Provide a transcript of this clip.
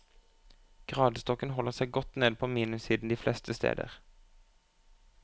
Gradestokken holder seg godt nede på minussiden de fleste steder.